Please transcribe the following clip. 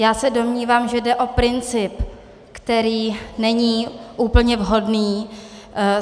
Já se domnívám, že jde o princip, který není úplně vhodný.